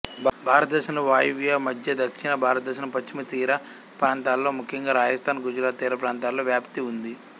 భారతదేశంలో వాయవ్య మధ్య దక్షిణ భారతంలోని పశ్చిమతీర ప్రాంతాలలో ముఖ్యంగా రాజస్తాన్ గుజరాత్ తీరప్రాంతాలలో వ్యాప్తి ఉంది